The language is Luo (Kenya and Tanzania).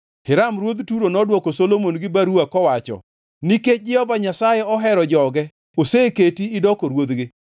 Hiram ruodh Turo nodwoko Solomon gi baruwa kowacho: “Nikech Jehova Nyasaye ohero joge oseketi idoko ruodhgi.”